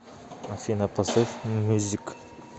афина включи джефри левис